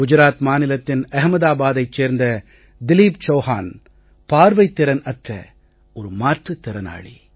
குஜராத் மாநிலத்தின் அஹ்மதாபாத்தைச் சேர்ந்த திலீப் சௌஹான் பார்வைத் திறன் அற்ற ஒரு மாற்றுத் திறனாளி